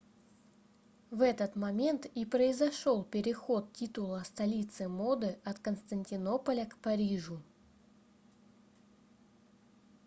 в этот момент и произошел переход титула столицы моды от константинополя к парижу